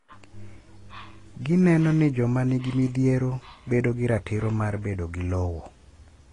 Gineno ni joma nigi midhiero bedogi ratiro mar bedo gi lowo.